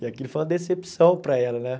E aquilo foi uma decepção para ela, né?